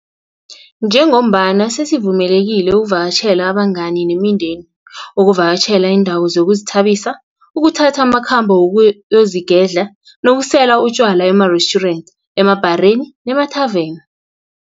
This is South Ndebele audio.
Njengombana sesivumelekile ukuvakatjhela abangani nemindeni, ukuvakatjhela iindawo zokuzithabisa, ukuthatha amakhambo wokuyozigedla nokusela utjwala emarestjurenti, emabhareni nemathaveni.